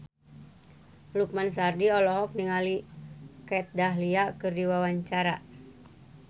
Lukman Sardi olohok ningali Kat Dahlia keur diwawancara